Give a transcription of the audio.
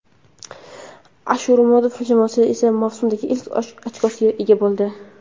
Ashurmatov jamoasi esa mavsumdagi ilk ochkosiga ega bo‘ldi.